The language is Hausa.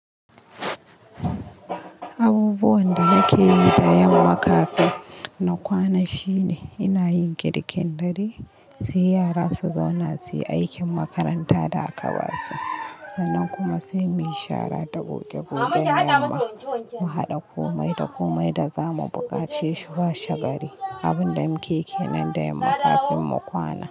Abubuwan da nake yi da yamma kafin na kwana shine ina yin girkin dare, sai yara su zauna, suyi aikin makaranta da aka ba su. Sannan kuma sai mu yi shara da goge-gogen mu kuma mu haɗa komai da komai da za mu buƙace shi washegari. Abin da muke yi nan da yamma kafin mu kwana.